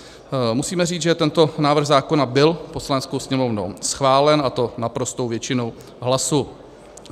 Musíme říct, že tento návrh zákona byl Poslaneckou sněmovnou schválen, a to naprostou většinou hlasů.